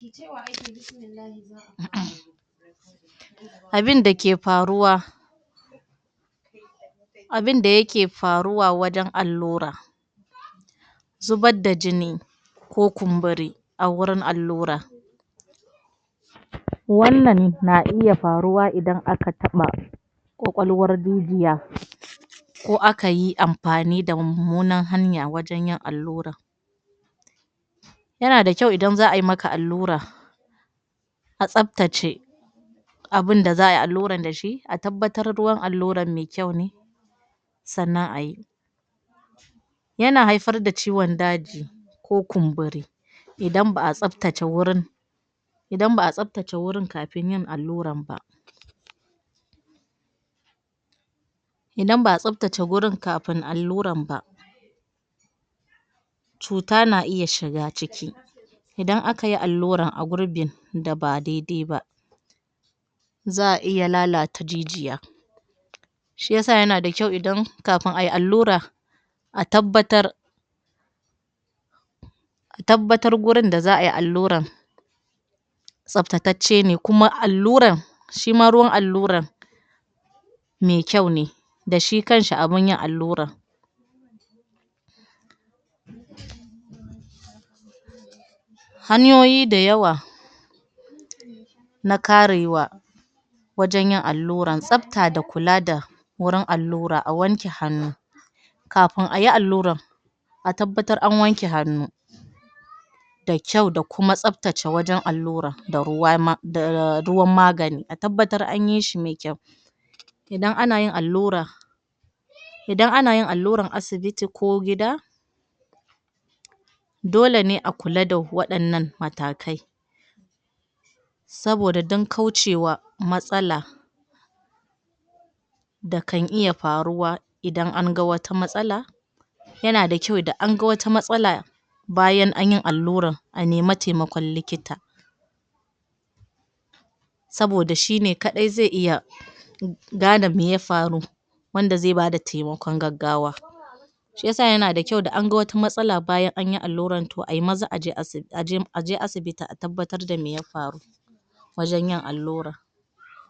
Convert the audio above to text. Cewa ake Bismillahi za a fara? Abinda ke faruwa abinda yake faruwa wajen allura zubad da jini ko kumburi a wurin allura wannan na iya faruwa idan aka taɓa Kwakwalwar jijiya ko aka yi amfani da mummunan hanya wajen yin allurar yana da kyau idan za ai maka allura a tsaftace abinda za ai allurar da shi a tabbatar ruwan allurar me kyau ne sannan a yi yana haifar da ciwon daji ko kumburi idan ba a tsaftace wurin idan ba a tsaftace wurin kafin yin allurar ba idan ba a tsaftace wurin kafin allurran ba cuta na iya shiga ciki idan aka yi allura a gurbin da ba daidai ba za a iya lalata jijiya shi ya sa yana da kyau idan kafin ai allura tabbatar a tabbatar gurin da za ai allurar tsaftatacce ne kuma allurar shi ma ruwan allurar me kyau ne da shi kanshi abin yin allurar hanyoyi da yawa na karewa wajen yin allurar tsafta da kula da wurin allura a wanke hannu kafin ayi allurar a tabbatar an wanke hannu da kyau da kuma tsaftace wajen allurar da ruwan ma da ruwan magani a tabbatar an yi shi ne me kyau idan ana yin allura idan anayin allurar asibiti ko gida dole ne a kula da waɗanan matakai saboda an kaucewa matsala da kan iya faruwa idan an ga wata matsala yana da kyau da anga wata matsala bayan anyi allurar a nemi taimakon likita saboda shi ne kaɗai zai iya gane mai ya faru wanda zai bada taimakon gaggawa shi ya sa yana da kyau da an ga wata mastala bayan an yi allurar to ai maza aje asi aje asibiti a tabbatar me ya faru wajen yin allurar